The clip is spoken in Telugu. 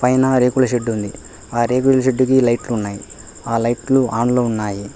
ఏనా రేకులు షెడ్డు ఉంది ఆరేగుల్ షెడ్డు కి లైట్లు ఉన్నాయ్ ఆ లైట్లు ఆన్ లో ఉన్నాయి.